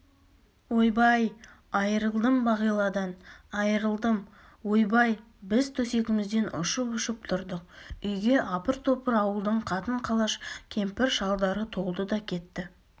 ойбай айрылдым бағиладан айрылдым ойбай біз төсегімізден ұшып-ұшып тұрдық үйге апыр-топыр ауылдың қатын-қалаш кемпір-шалдары толды да кетті